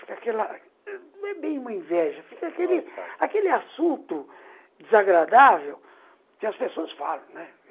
Fica aquela... Não é bem uma inveja, mal-estar, fica aquele assunto desagradável que as pessoas falam, né?